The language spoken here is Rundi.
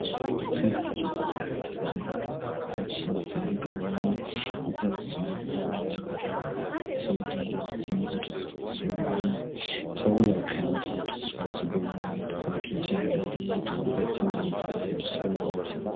Twihweje neza turabona inyubako nyinshi zitandukanye, iz'amasore, iz'uburiro, ndetse niz'utuzu twa sugumwe, turabona kandi utuzu twa sugumwe twa kijambere twubatse neza dusa neza.